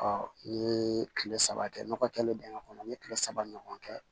n'i ye kile saba kɛ nɔgɔ kɛlen dingɛ kɔnɔ n ye kile saba ɲɔgɔn kɛ